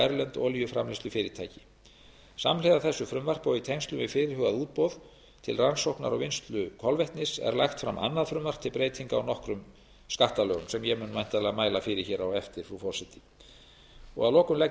erlend olíuframleiðslufyrirtæki samhliða þessu frumvarpi og í tengslum við fyrirhugað útboð til rannsóknar og vinnslu kolvetnis er lagt fram annað frumvarp til breytinga á nokkrum skattalögum sem ég mun væntanlega mæla fyrir hér á eftir frú forseti að lokum legg ég